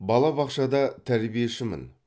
бабабақшада тәрбиешімін